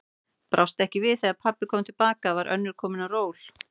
Brást ekki að þegar pabbi kom til baka var önnur komin á ról.